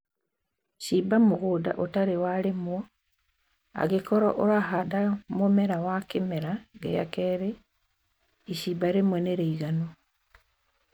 Shimba mũgũnda ũtarĩ walĩmwo, angĩkorwo ũrahanda mũmera wa kĩmera gĩa kelĩ, ishimba rĩmwe nĩ rĩiganu